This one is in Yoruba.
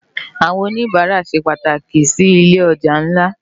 Awòn ónibàrá sé pàtáki si ilé òjá nlá